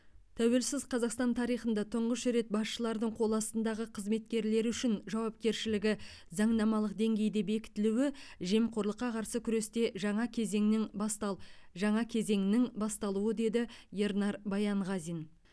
тәуелсіз қазақстан тарихында тұңғыш рет басшылардың қол астындағы қызметкерлері үшін жауапкершілігі заңнамалық деңгейде бекітілуі жемқорлыққа қарсы күресте жаңа кезеңнің бастал жаңа кезеңнің басталуы деді ернар баянғазин